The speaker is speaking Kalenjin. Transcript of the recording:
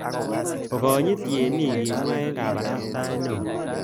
Okanyit tienik kimwa eng kabarastaet neo